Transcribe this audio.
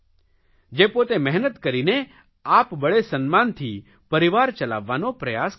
જે પોતે મહેનત કરીને આપબળે સન્માનથી પરિવાર ચલાવવાનો પ્રયાસ કરે છે